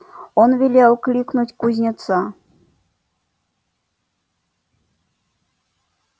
он велел кликнуть кузнеца